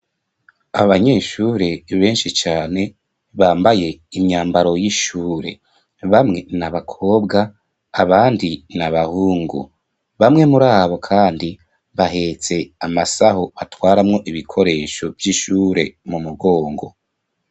Abanyeshure benshi cane bambaye imyambaro y'ishure bamwe na bakobwa abandi na abahungu bamwe muri abo, kandi bahetse amasaho batwaramwo ibikoresho vy'ishure mu mugongo.